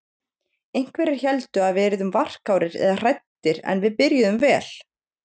Einhverjir héldu að við yrðum varkárir eða hræddir en við byrjuðum vel.